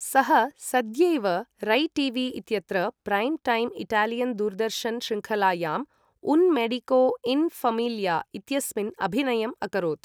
सः सद्यैव रै टी.वी.इत्यत्र प्रैम् टैम् इटालियन् दूरदर्शन श्रृङ्खलायाम् उन् मेडिको इन् ऴमील्या इत्यस्मिन् अभिनयम् अकरोत्।